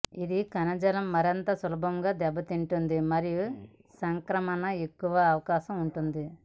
ఇది కణజాలం మరింత సులభంగా దెబ్బతింటుంది మరియు సంక్రమణకు ఎక్కువ అవకాశం ఉంది